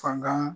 Fanga